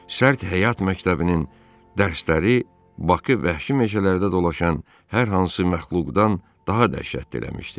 Sərt həyat məktəbinin dərsləri Bakı vəhşi meşələrdə dolaşan hər hansı məxluqdan daha dəhşətli eləmişdi.